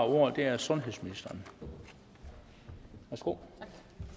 ordet er sundhedsministeren værsgo